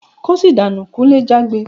"Kóṣì dànú!" Kunle jágbe.